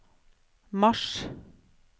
mars